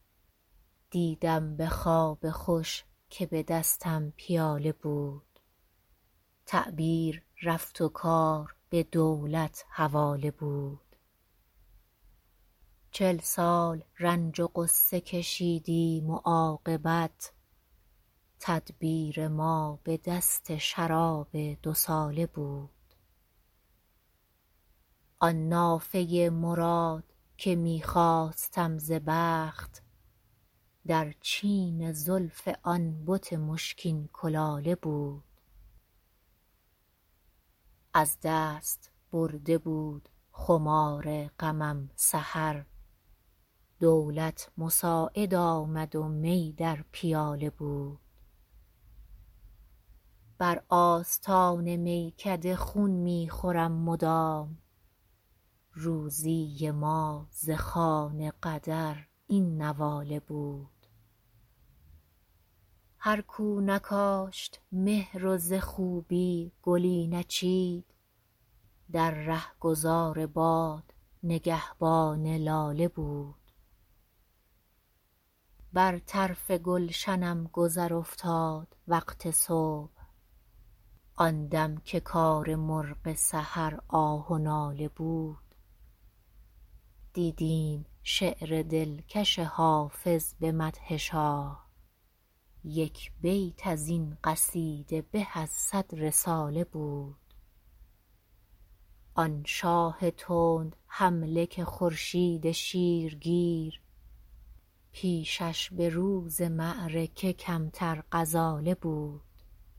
دیدم به خواب خوش که به دستم پیاله بود تعبیر رفت و کار به دولت حواله بود چل سال رنج و غصه کشیدیم و عاقبت تدبیر ما به دست شراب دوساله بود آن نافه مراد که می خواستم ز بخت در چین زلف آن بت مشکین کلاله بود از دست برده بود خمار غمم سحر دولت مساعد آمد و می در پیاله بود بر آستان میکده خون می خورم مدام روزی ما ز خوان قدر این نواله بود هر کو نکاشت مهر و ز خوبی گلی نچید در رهگذار باد نگهبان لاله بود بر طرف گلشنم گذر افتاد وقت صبح آن دم که کار مرغ سحر آه و ناله بود دیدیم شعر دلکش حافظ به مدح شاه یک بیت از این قصیده به از صد رساله بود آن شاه تندحمله که خورشید شیرگیر پیشش به روز معرکه کمتر غزاله بود